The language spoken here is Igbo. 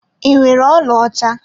Ị nwere ọlaọcha?